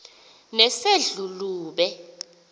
nesedlulube